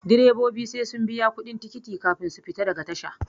Direbobi sai sun biya kuɗin tikiti kafin su fita daga tasha